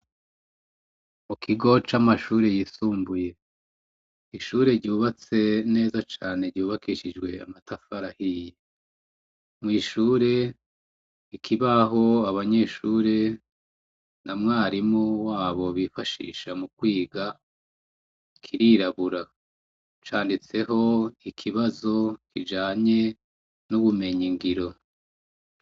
Mu kigo c'amashuri yisumbuye ishure ryubatse neza cane cubakishijwe amatafarahiye mu ishure ikibaho abanyeshure na mwarimu wabo bifashisha mu kwiga kirirabura canditseho ikibazo kijanye n'ubumenya ingiro.